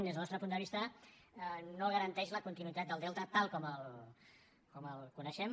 des del nostre punt de vista no garanteix la continuïtat del delta tal com el coneixem